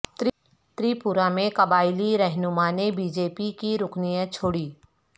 تریپورہ میں قبائلی رہنما نے بی جے پی کی رکنیت چھوڑی